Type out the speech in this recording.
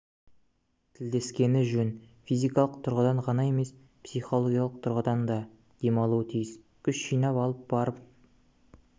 тілдескені жөн физикалық тұрғыдан ғана емес психологиялық тұрғыдан да демалуы тиіс күш жинап алып барып